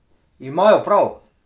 Imajo prav!